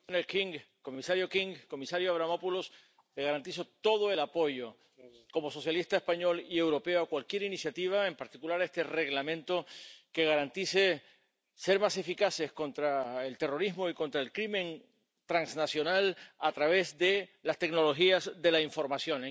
Señor presidente, comisario King, comisario Avramopoulos, les garantizo todo el apoyo, como socialista español y europeo, a cualquier iniciativa —en particular a este Reglamento— que garantice ser más eficaces contra el terrorismo y contra el crimen transnacional a través de las tecnologías de la información.